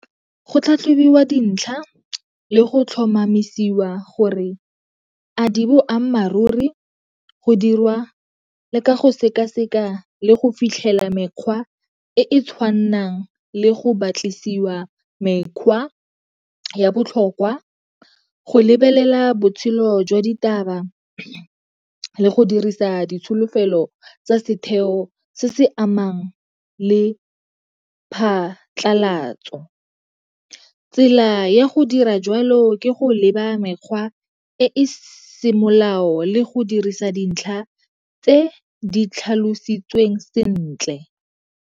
Go tlhatlhobiwa dintlha le go tlhomamisiwa gore a di boammaaruri go dirwa le ka go sekaseka le go fitlhela mekgwa e e tshwanang le go batlisiwa mekgwa ya botlhokwa, go lebelela botshelo jwa ditaba le go dirisa ditsholofelo tsa setheo se se amang le phatlalatso. Tsela ya go dira jalo ke go leba mekgwa e semolao le go dirisa dintlha tse di tlhalositsweng sentle.